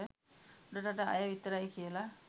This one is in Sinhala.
උඩරට අය විතරයි කියලා.